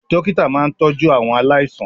Dókítà máa ń tọ́jú àwọn aláìsàn